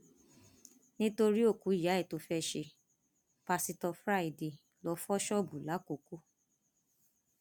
nítorí òkú ìyá ẹ tó fẹẹ ṣe pásítọ friday lóò fọ ṣọọbù làkọkọ